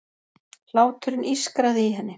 Hláturinn ískraði í henni.